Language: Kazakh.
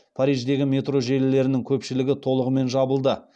париждегі метро желілерінің көпшілігі толығымен жабылды